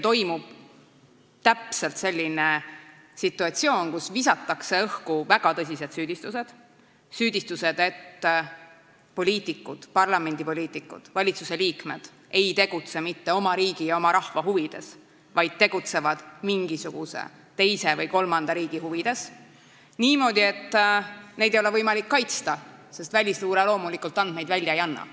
See on täpselt selline situatsioon, kus visatakse õhku väga tõsised süüdistused – süüdistused, et poliitikud, parlamendipoliitikud ja valitsusliikmed, ei tegutse mitte oma riigi ja oma rahva huvides, vaid tegutsevad mingisuguse teise või kolmanda riigi huvides – niimoodi, et neid ei ole võimalik kaitsta, sest välisluure loomulikult andmeid välja ei anna.